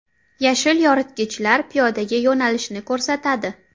Yashil yoritgichlar piyodalarga yo‘nalishni ko‘rsatadi.